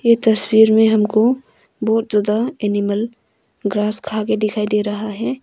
ये तस्वीर में हमको बहुत ज्यादा एनिमल ग्रास खा के दिखाई दे रहा है।